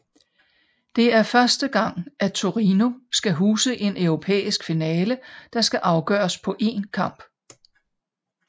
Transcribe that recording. Det er første gang at Torino skal huse en europæisk finale der skal afgøres på én kamp